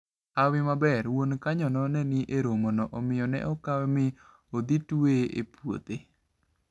Hawi maber, wuon kanynano ne ni e romono omiyo ne okawe mi odhi tueye e puothe.